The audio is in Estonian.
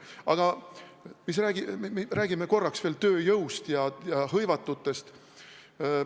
Aga räägime korraks veel tööjõust ja hõivatutest.